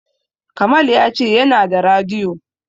Kamal ya ce yana da radiyo.